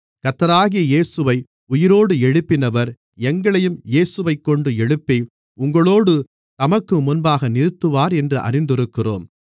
கர்த்தராகிய இயேசுவை உயிரோடு எழுப்பினவர் எங்களையும் இயேசுவைக்கொண்டு எழுப்பி உங்களோடு தமக்குமுன்பாக நிறுத்துவார் என்று அறிந்திருக்கிறோம்